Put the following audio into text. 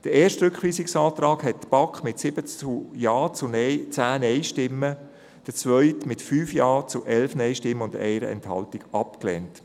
Den ersten Rückweisungsantrag lehnte die BaK mit 7 Ja- zu 10 Nein-Stimmen, den zweiten mit 5 Ja- zu 11 Nein-Stimmen bei einer Enthaltung ab.